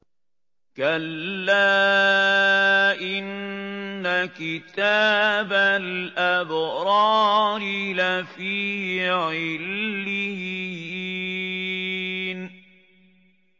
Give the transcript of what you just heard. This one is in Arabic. كَلَّا إِنَّ كِتَابَ الْأَبْرَارِ لَفِي عِلِّيِّينَ